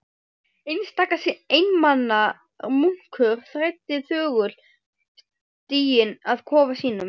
Einstaka einmana munkur þræddi þögull stíginn að kofa sínum.